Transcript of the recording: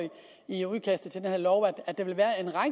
i udkastet til den her lov at der vil være